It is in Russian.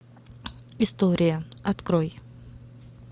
история открой